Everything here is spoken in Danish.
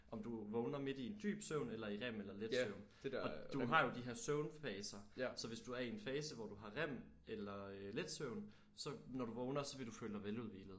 Om du vågner midt i en dyb søvn eller i rem eller let søvn og du har jo de her søvnfaser så hvis du er i en fase hvor du har rem eller let søvn så når du vågner så vil du føle dig veludhvilet